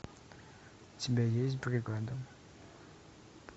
у тебя есть бригада